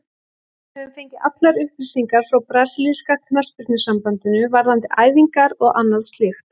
Við höfum fengið allar upplýsingar frá brasilíska knattspyrnusambandinu, varðandi æfingar og annað slíkt.